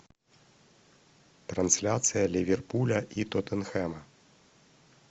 трансляция ливерпуля и тоттенхэма